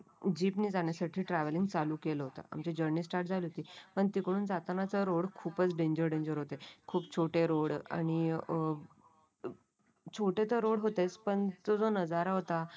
जिब नि जाण्या साठी ट्रॅव्हलिंग चालू केलं होतं. जर्नी झाली होती. पण तिकूडून जातानचा रोड खूपच डेंजर डेंजर होते. खूप छोट्या रोड आणि अं छोटे तर रोड होतेच पण जो नजारा होता.